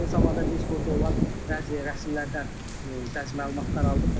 Eyni zamanda biz burda olan bəzi rəsmilərdən bəzi məlumatlar aldıq.